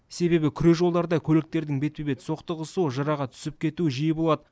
себебі күре жолдарда көліктердің бетпе бет соқтығысуы жыраға түсіп кетуі жиі болады